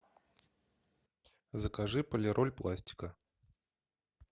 закажи полироль пластика